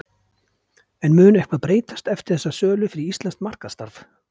En mun eitthvað breytast eftir þessa sölu fyrir íslenskt markaðsstarf?